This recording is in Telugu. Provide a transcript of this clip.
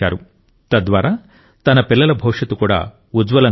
తద్వారా తన పిల్లల భవిష్యత్తు కూడా ఉజ్వలంగా ఉంటుంది